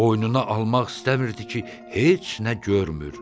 Boynuna almaq istəmirdi ki, heç nə görmür.